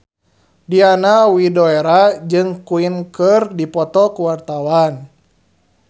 Diana Widoera jeung Queen keur dipoto ku wartawan